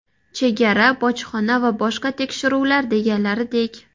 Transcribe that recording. Chegara, bojxona va boshqa tekshiruvlar deganlaridek.